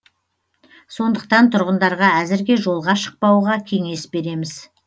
сондықтан тұрғындарға әзірге жолға шықпауға кеңес береміз